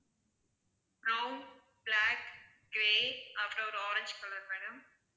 brown, black, grey அப்புறம் ஒரு orange color madam